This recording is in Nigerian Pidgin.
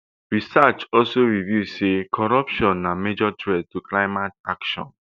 research also reveal say corruption na major threat to climate action